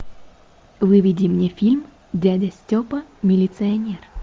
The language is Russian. выведи мне фильм дядя степа милиционер